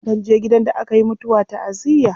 Akan je gidan da aka yi mutuwa ta'aziyya.